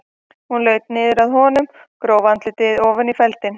Hún laut niður að honum og gróf andlitið ofan í feldinn.